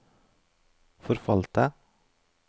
forfalte